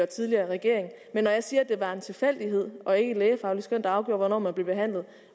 tidligere regering men når jeg siger at det var en tilfældighed og ikke et lægefagligt skøn der afgjorde hvornår man blev behandlet